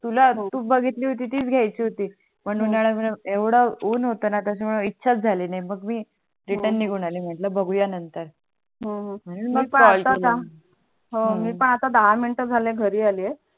तुला तु बघितली होती तीच घ्यायची होती पण उनाडा मूळे यवढा ऊन होतं ना त्याच्यामुळे इच्छा झाली नाही बग मी रिटर्न निघून आली मी म्हटल बागू या नंतर हो हो मग कॉल केला मी आता फक्त दहा मिंट घरी आली आहे.